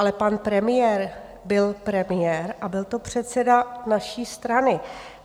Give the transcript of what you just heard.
Ale pan premiér byl premiér a byl to předseda naší strany.